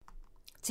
TV 2